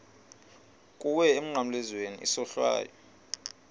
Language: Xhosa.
kuwe emnqamlezweni isohlwayo